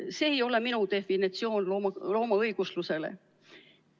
See ei ole minu definitsioon loomaõiguslusele.